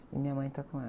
E minha mãe está com ela.